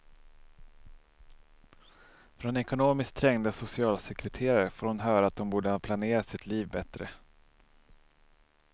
Från ekonomiskt trängda socialsekreterare får hon höra att hon borde ha planerat sitt liv bättre.